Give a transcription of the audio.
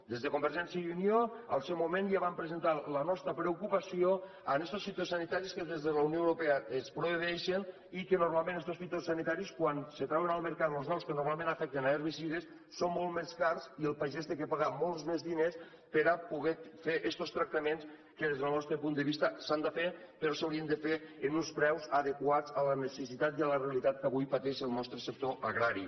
des de convergència i unió al seu moment ja vam presentar la nostra preocupació per estos fitosanitaris que des de la unió europea es prohibeixen i que normalment estos fitosanitaris quan se trauen al mercat los nous que normalment afecten herbicides són molt més cars i el pagès ha de pagar molts més diners per a poder fer estos tractaments que des del nostre punt de vista s’han de fer però s’haurien de fer amb uns preus adequats a les necessitats i a la realitat que avui pateix el nostre sector agrari